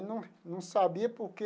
Não não sabia por quê.